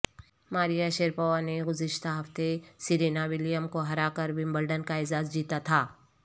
Maria Sharapova نے گزشتہ ہفتے سرینا ولیم کو ہرا کر ومبلڈن کا اعزاز جیتا تھا